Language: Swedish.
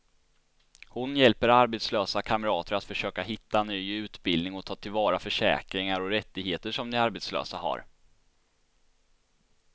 Hon hjälper arbetslösa kamrater att försöka hitta ny utbildning och ta till vara försäkringar och rättigheter som de som arbetslösa har.